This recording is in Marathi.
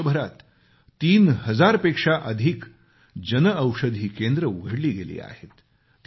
आज देशभरात 3 हजारपेक्षा जास्त जनऔषधी केंद्र उघडली गेली आहेत